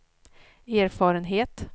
erfarenhet